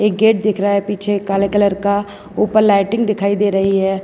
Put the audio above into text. Gate दिख रहा है पीछे काले कलर का ऊपर लाइटिंग दिखाई दे रही है।